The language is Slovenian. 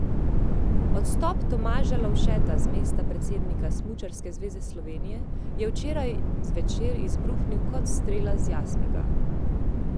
Odstop Tomaža Lovšeta z mesta predsednika Smučarske zveze Slovenije je včeraj zvečer izbruhnil kot strela z jasnega.